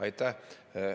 Aitäh!